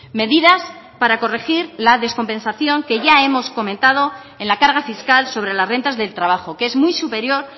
medidas para corregir la descompensación que ya hemos comentado en la carga fiscal sobre las rentas del trabajo que es muy superior